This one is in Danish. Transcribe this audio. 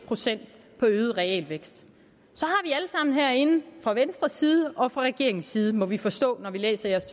procent på øget realvækst i herinde fra venstres side og fra regeringens side må vi forstå når vi læser deres